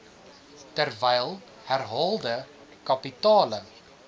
terwyl herhaalde kapitale